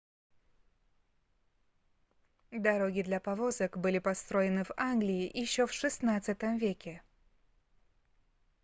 дороги для повозок были построены в англии ещё в xvi веке